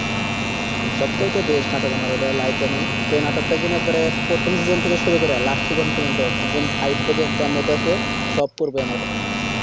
সব চাইতে best নাটক আমার এইবার life এ আমি সেই নাটক টা যেন একবারে প্রথম season থেকে শুরু করা last season প্রজন্ত camera আর পশে সত্তর গ্রাম আসে পশে